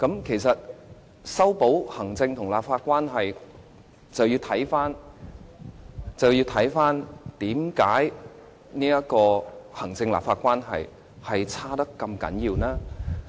其實，要修補行政立法關係，便要先了解行政立法關係惡劣的原因。